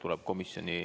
Tuleb komisjoni ...